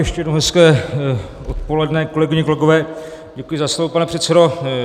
Ještě jednou hezké odpoledne, kolegyně, kolegové, děkuji za slovo pane předsedo.